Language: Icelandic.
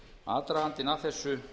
aðdragandinn að þessu